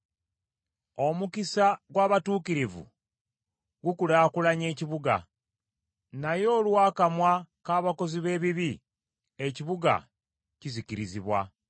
Omukisa gw’abatuukirivu gukulaakulanya ekibuga: naye olw’akamwa k’abakozi b’ebibi, ekibuga kizikirizibwa.